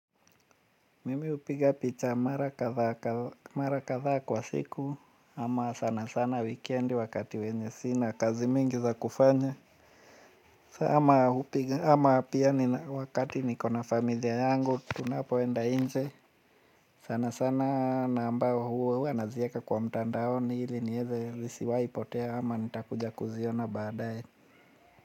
Mimi hupiga picha mara kadhaa kwa siku ama sana sana weekend wakati wenye sina kazi mingi za kufanya. Ama pia wakati nikona familia yangu tunapoenda nje. Sana sana na ambao huwa nazieka kwa mtandaoni ili niweze lisiwaipotea ama nitakuja kuziona baadae.